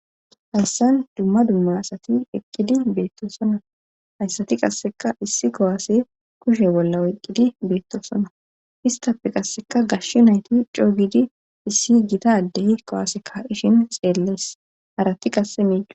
Hayssan dumma dumma asati eqqidi beettoosona hayssati qasseka issi kowaase kushe bolla oyqqidi beettosona histafe qasseka gash nayti coogidi issi gita ddey kowaaseka ishin xeellees harati qasse miido.